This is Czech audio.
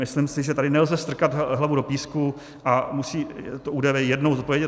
Myslím si, že tady nelze strkat hlavu do písku a musí to ÚDV jednou zodpovědět.